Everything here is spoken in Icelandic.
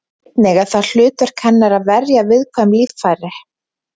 Einnig er það hlutverk hennar að verja viðkvæm líffæri.